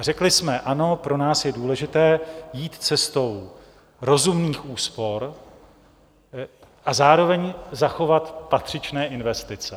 A řekli jsme ano, pro nás je důležité jít cestou rozumných úspor a zároveň zachovat patřičné investice.